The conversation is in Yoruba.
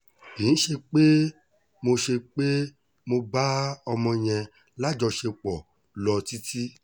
kì í ṣe pé mo ṣe pé mo bá ọmọ yẹn lájọṣepọ̀ lọ títí